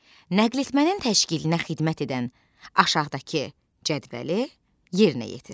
Nəql etmənin təşkilinə xidmət edən aşağıdakı cədvəli yerinə yetir.